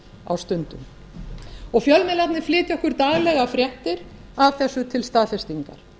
á stundum fjölmiðlarnir flytja okkur daglega fréttir af þessu til staðfestingar